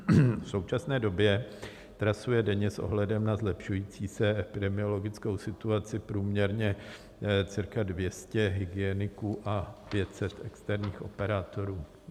V současné době trasuje denně s ohledem na zlepšující se epidemiologickou situaci průměrně cirka 200 hygieniků a 500 externích operátorů.